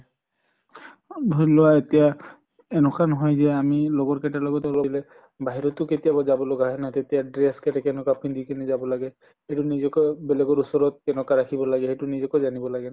ধৰি লোৱা এতিয়া এনকা নহয় যে আমি লগৰ কেটাৰ লগত বাহিৰতো কেতিয়াবা যাব লগা হয় না, তেতিয়া dress কেনকুৱা পিন্ধি কিনে যাব লাগে নিজেকো বেলেগৰ ওচৰত কেনকা ৰাখিব লাগে সেইটো নিজকে জানিব লাগে ন।